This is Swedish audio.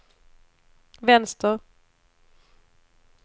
vänster